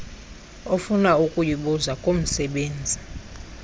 ofuna ukuyibuza kumsebenzi